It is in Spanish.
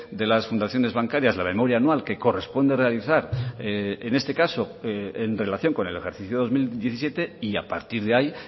de las fundaciones bancarias la memoria anual que corresponde realizar en este caso en relación con el ejercicio dos mil diecisiete y a partir de ahí